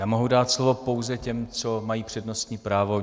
Já mohu dát slovo pouze těm, co mají přednostní právo.